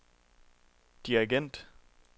dirigent